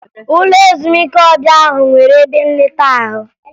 Ụlọ ezumike ọbịa ahụ nwere ebe nleta ahụ